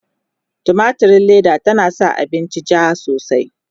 tumatirin Leda tana sa abinci jaa sosai